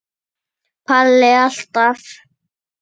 Palli alltaf.